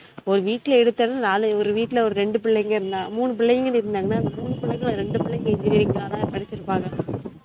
ஒரு வீட்ல எடுத்தன்னா நாலு ஒரு வீட்ல ஒரு ரெண்டு பிள்ளைங்க இருந்த மூனு பிள்ளைங்க இருந்தங்கனா அந்த மூனு பிள்ளைங்கள்ல ரெண்டு பிள்ளைங்க engineering தான படிச்சிருப்பாங்க